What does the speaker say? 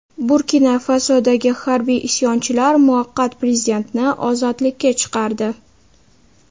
Burkina-Fasodagi harbiy isyonchilar muvaqqat prezidentni ozodlikka chiqardi.